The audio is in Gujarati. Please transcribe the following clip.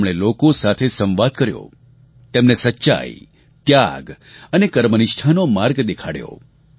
તેમણે લોકો સાથે સંવાદ કર્યો તેમને સચ્ચાઈ ત્યાગ અને કર્મનિષ્ઠાનો માર્ગ દેખાડ્યો